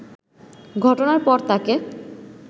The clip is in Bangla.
ঘটনার পর তাকে